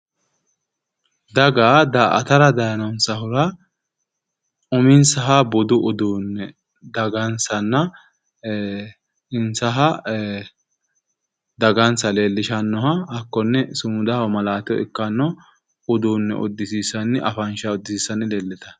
Daga daa"atra dayiinonsahura uminsaha budu uduunne dagansanna insaha dagansa leellishannoha hakkonne sumudaho malaateho ikkanno afansha uddisiissanni leellitanno